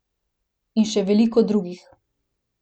In še veliko drugih.